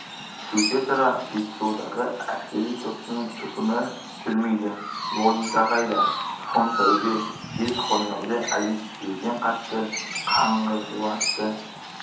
сөйте тұра жетісудағы әскери соттың үкімі жүрмейді логика қайда фон таубе жез қоңырауды әдеттегіден қатты қаңғырлатты